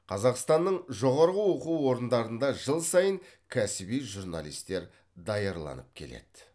қазақстанның жоғарғы оқу орындарында жыл сайын кәсіби журналистер даярланып келеді